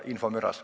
Aitäh!